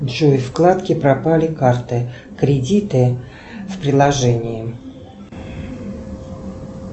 джой вкладки пропали карты кредиты в приложении